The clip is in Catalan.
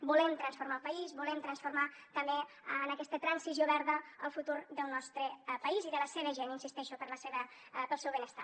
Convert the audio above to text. volem transformar el país volem transformar també en aquesta transició verda el futur del nostre país i de la seva gent hi insisteixo per al seu benestar